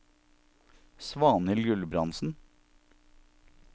Svanhild Gulbrandsen